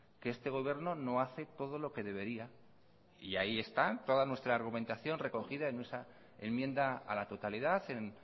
que este gobierno no hace todo lo que debería y ahí está toda nuestra argumentación recogida en esa enmienda a la totalidad en